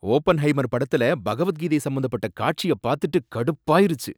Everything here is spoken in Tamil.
ஓபன்ஹைமர் படத்துல பகவத்கீதை சம்மந்தப்பட்ட காட்சிய பாத்துட்டு கடுப்பாயிருச்சு.